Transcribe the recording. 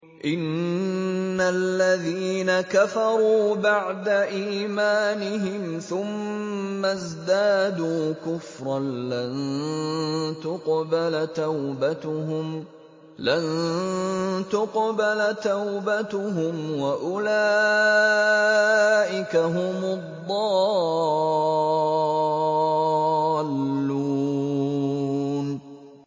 إِنَّ الَّذِينَ كَفَرُوا بَعْدَ إِيمَانِهِمْ ثُمَّ ازْدَادُوا كُفْرًا لَّن تُقْبَلَ تَوْبَتُهُمْ وَأُولَٰئِكَ هُمُ الضَّالُّونَ